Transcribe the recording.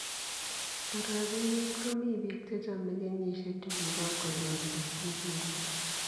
Orogenet ko mi biik chechome kenyishek chugibo ukoloni kosir Nguni.